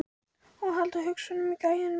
Og halda hausnum á gæjanum uppi!